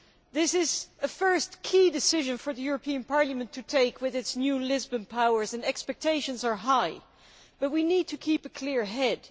This is a first key decision for the European Parliament to take with its new Lisbon powers and expectations are high, but we need to keep a clear head.